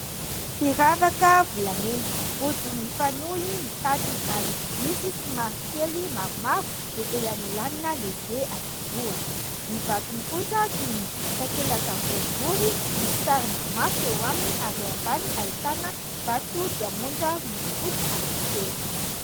Firavaka volamena, rojo mifanohy ny tadiny ary misy somary kely maromaro dia elanelanina lehibe anankiroa. Ny vatony kosa toy ny takelaka boribory misy sarina maso eo aminy ary eo ambany ahitana vato diamondra miloko fotsy anankitelo.